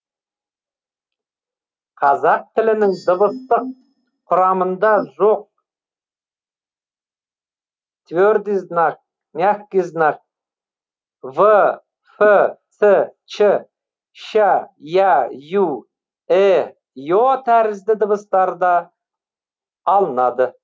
қазақ тілінің дыбыстық құрамында жоқ твердый знак мягкий знак в ф ц ч ща я ю э е тәрізді дыбыстар да алынады